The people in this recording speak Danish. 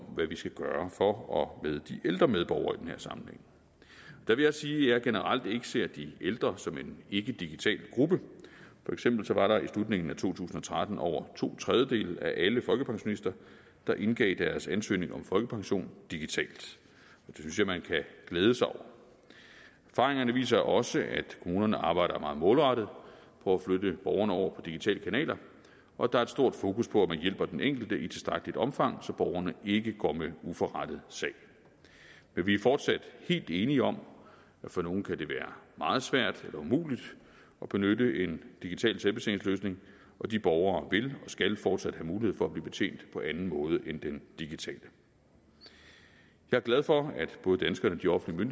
hvad vi skal gøre for og med de ældre medborgere i den her sammenhæng der vil jeg sige at jeg generelt ikke ser de ældre som en ikkedigital gruppe for eksempel var det i slutningen af to tusind og tretten over to tredjedele af alle folkepensionister der indgav deres ansøgning om folkepension digitalt det synes jeg man kan glæde sig over erfaringerne viser også at kommunerne arbejder meget målrettet på at flytte borgerne over på digitale kanaler og der er et stort fokus på at man hjælper den enkelte i tilstrækkeligt omfang så borgerne ikke går med uforrettet sag men vi er fortsat helt enige om at for nogle kan det være meget svært eller umuligt at benytte en digital selvbetjeningsløsning og de borgere vil og skal fortsat have mulighed for at blive betjent på anden måde end den digitale jeg er glad for at både danskerne og de offentlige